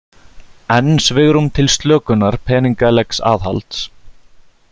Enn svigrúm til slökunar peningalegs aðhalds